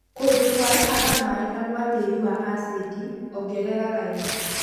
Kũndũ kwarahaga maĩĩ na gwa tĩri wa acid, ongerera laimu